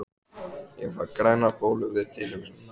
Ég fæ grænar bólur við tilhugsunina!